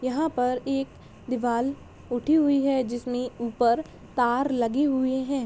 यहाँ पर एक दीवाल उठी हुई है जिसमे ऊपर तार लगे हुए है।